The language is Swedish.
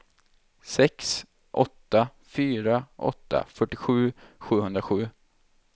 sex åtta fyra åtta fyrtiosju sjuhundrasju